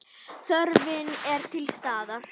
Þörfin er til staðar.